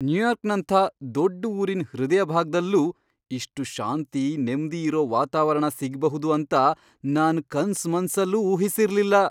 ನ್ಯೂಯಾರ್ಕ್ನಂಥ ದೊಡ್ಡ್ ಊರಿನ್ ಹೃದಯಭಾಗ್ದಲ್ಲೂ ಇಷ್ಟು ಶಾಂತಿ, ನೆಮ್ದಿ ಇರೋ ವಾತಾವರಣ ಸಿಗ್ಬಹುದು ಅಂತ ನಾನ್ ಕನ್ಸ್ ಮನ್ಸಲ್ಲೂ ಊಹಿಸಿರ್ಲಿಲ್ಲ!